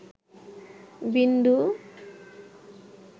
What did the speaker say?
বিন্দু